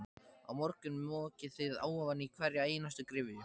Á morgun mokið þið ofan í hverja einustu gryfju.